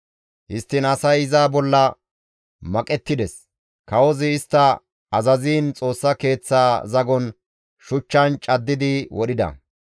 Histtiin asay iza bolla maqettides; kawozi istta azaziin Xoossa Keeththaa zagon shuchchan caddi wodhida.